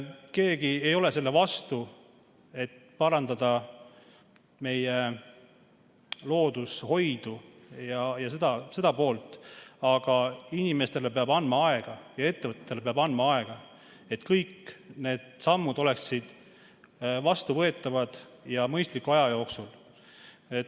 Keegi ei ole selle vastu, et parandada meie loodushoidu ja seda poolt, aga inimestele peab andma aega ja ettevõtetele peab andma aega, et kõik need sammud oleksid vastuvõetavad ja toimuksid mõistliku aja jooksul.